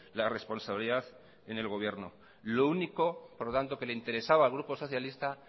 la responsabilidad en el gobierno lo único por lo tanto que le interesaba al grupo socialista